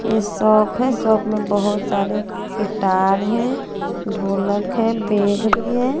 ऐ shop है shop में बहोत सारे गिटार हैं ढोलक है बैग भी है।